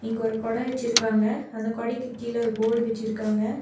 அங்க ஒரு கொடை வச்சிருக்காங்க அந்த கொடைக்கு கீழ ஒரு போர்டு வச்சிருக்காங்க.